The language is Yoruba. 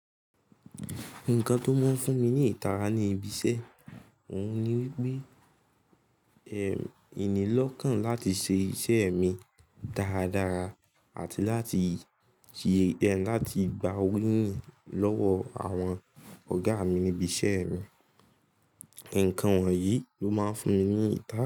Nǹkan tó máa ń fún mi ní ìtara ni ibi iṣẹ́. Òun ni wípé, ìní lọ́kàn láti ṣe iṣẹ́ mi dáradára àti láti-- láti gba owo lọ́wọ́ àwọn ọ̀gá mi nibi iṣẹ́ mi. Nǹkan wọ̀nyí ló máa ń fún mi ní ìtara.